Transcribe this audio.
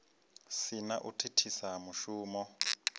si na u thithisa mushumo